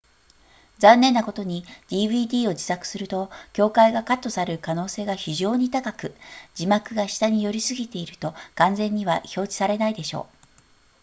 残念なことに dvd を自作すると境界がカットされる可能性が非常に高く字幕が下に寄りすぎていると完全には表示されないでしょう